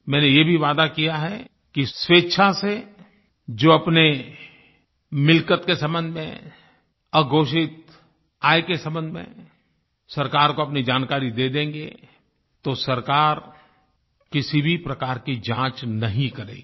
मैंने ये भी वादा किया है कि स्वेच्छा से जो अपने मिल्कियत के सम्बन्ध में अघोषित आय के सम्बन्ध में सरकार को अपनी जानकारी दे देंगे तो सरकार किसी भी प्रकार की जांच नहीं करेगी